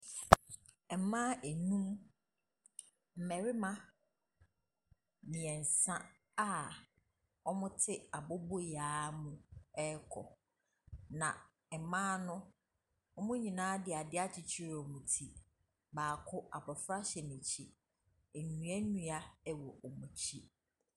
Mmaa nnum, mmarima mmiɛnsa a wɔte aboboyaa mu rekɔ. Na mmaa no wɔn nyinaa de adeɛ akyekyere wɔn ti. Baako abɔfra hyɛ n’akyi. Nnuanua wɔ wɔn akyi.